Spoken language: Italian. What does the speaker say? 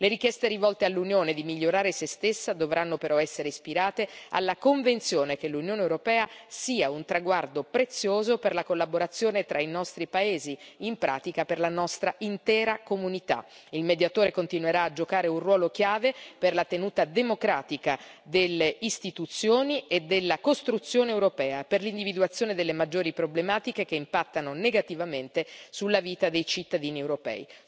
Le richieste rivolte all'Unione di migliorare se stessa dovranno però essere ispirate alla convinzione che l'Unione europea sia un traguardo prezioso per la collaborazione tra i nostri paesi, in pratica per la nostra intera comunità. Il Mediatore continuerà a giocare un ruolo chiave per la tenuta democratica delle istituzioni e della costruzione europea e per l'individuazione delle maggiori problematiche che impattano negativamente sulla vita dei cittadini europei.